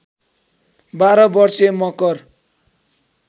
१२ वर्षे मकर